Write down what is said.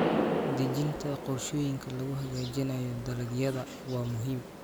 Dejinta qorshooyinka lagu hagaajinayo dalagyada waa muhiim.